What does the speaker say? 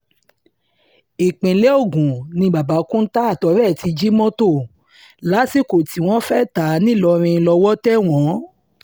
ìpínlẹ̀ ogun ni babakunta àtọ̀rẹ́ ti jí mọ́tò lásìkò tí wọ́n fẹ́ẹ́ ta á ńìlọrin lọ́wọ́ tẹ̀ wọ́n